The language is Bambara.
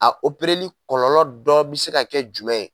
A opereli kɔlɔlɔ dɔ bi se ka kɛ jumɛn ye